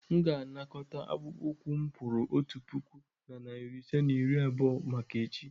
M ga-anakọta akpụkpọ ụkwụ m kwụrụ otu puku na narị ise na iri abụọ maka echi.